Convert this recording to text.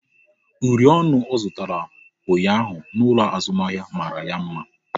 Uri ọnụ ọ zụtara ụnyaahụ n'ụlọ azụmahịa mara ya mma